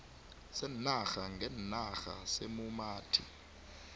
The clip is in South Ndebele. seenarha ngeenarha seemumathi